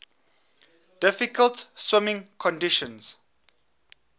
difficult swimming conditions